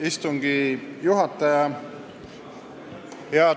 Istungi juhataja!